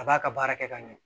A b'a ka baara kɛ ka ɲɛ